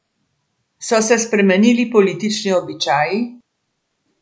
So se spremenili politični običaji?